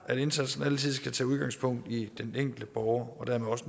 at indsatsen altid skal tage udgangspunkt i den enkelte borger og dermed også